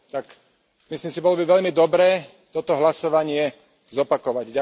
Tak, myslím si, bolo by veľmi dobré toto hlasovanie zopakovať.